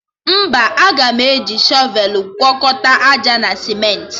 Mba, aga m eji shọvelụ gwọkọta àjà na simentị